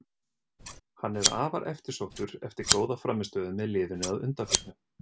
Hann er afar eftirsóttur eftir góða frammistöðu með liðinu að undanförnu.